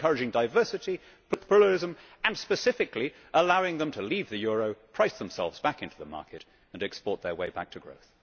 We should be encouraging diversity, pluralism and, specifically, allowing them to leave the euro, price themselves back into the market and export their way back to growth.